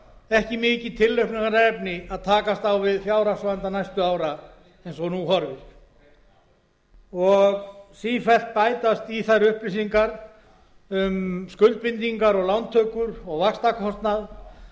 ekki mikið tilhlökkunarefni að takast á við fjárhagsvanda næstu ára eins og nú horfir sífellt bæta st í þær upplýsingar um skuldbindingar og lántökur og vaxtakostnað sem þjóðin